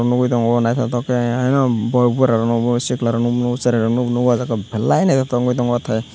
nugui tongo nythotok ke borok buru rok no chwla rok no bo nugo belai nythotok ke tongo atai.